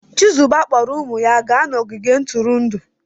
Chizuba kpọọrọ ụmụ ya gaa ogige ntụrụndụ.